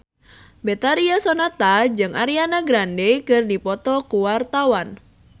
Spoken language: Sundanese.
Betharia Sonata jeung Ariana Grande keur dipoto ku wartawan